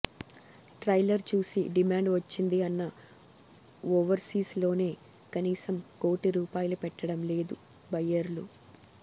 trailer చూసి demand వచ్చింది అన్న ఓవర్సీస్ లోనే కనీసం కోటి రూపాయలు పెట్టడం లేదు బయ్యర్లు